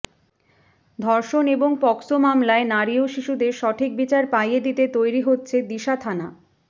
ধর্ষণ এবং পকসো মামলায় নারী ও শিশুদের সঠিক বিচার পাইয়ে দিতে তৈরি হচ্ছে দিশা থানা